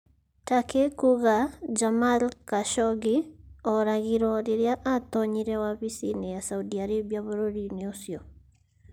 Turkey kuuga Jamal Khashoggi 'aoragirwo' rĩrĩa aatoonyire wabici-inĩ ya Saudi Arabia bũrũri-inĩ ũcio